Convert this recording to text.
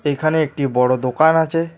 এখানে একটি বড় দোকান আছে।